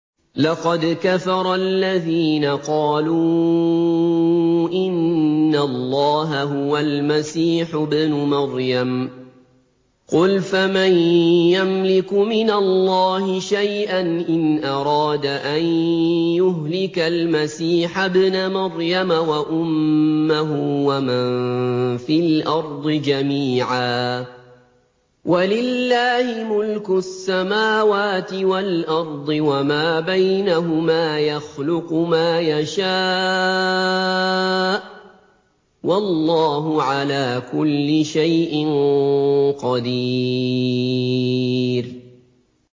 لَّقَدْ كَفَرَ الَّذِينَ قَالُوا إِنَّ اللَّهَ هُوَ الْمَسِيحُ ابْنُ مَرْيَمَ ۚ قُلْ فَمَن يَمْلِكُ مِنَ اللَّهِ شَيْئًا إِنْ أَرَادَ أَن يُهْلِكَ الْمَسِيحَ ابْنَ مَرْيَمَ وَأُمَّهُ وَمَن فِي الْأَرْضِ جَمِيعًا ۗ وَلِلَّهِ مُلْكُ السَّمَاوَاتِ وَالْأَرْضِ وَمَا بَيْنَهُمَا ۚ يَخْلُقُ مَا يَشَاءُ ۚ وَاللَّهُ عَلَىٰ كُلِّ شَيْءٍ قَدِيرٌ